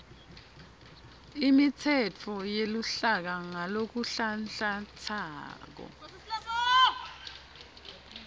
imitsetfo yeluhlaka ngalokunhlanhlantsako